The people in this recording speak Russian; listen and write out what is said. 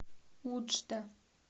уджда